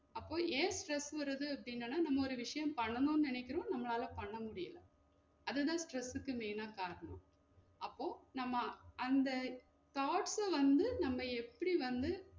அப்ப ஏன் stress வருது அப்டின்னன்னா? நம்ம ஒரு விஷியம் பண்ணனும் நெனைக்குறோம் நம்மளால பண்ண முடியல அதுதான் stress க்கு main ஆ காரணம் அப்போ நம்ம அந்த thoughts ச வந்து நம்ம எப்டி வந்து